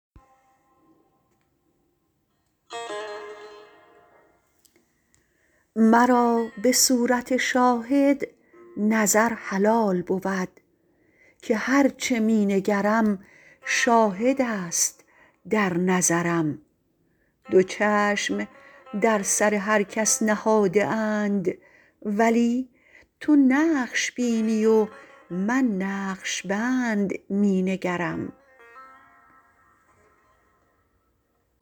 مرا به صورت شاهد نظر حلال بود که هرچه می نگرم شاهدست در نظرم دو چشم در سر هر کس نهاده اند ولی تو نقش بینی و من نقشبند می نگرم